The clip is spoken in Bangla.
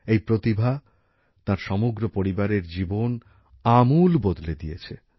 এই প্রতিভা তাঁর সমগ্র পরিবারের জীবন আমূল বদলে দিয়েছে